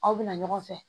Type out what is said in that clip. Aw bɛna ɲɔgɔn fɛ